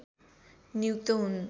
नियुक्त हुन्